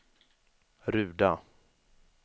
Ruda